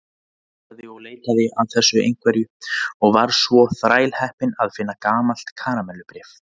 Hann leitaði og leitaði að þessu einhverju og var svo þrælheppinn að finna gamalt karamellubréf.